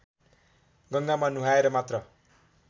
गङ्गामा नुहाएर मात्र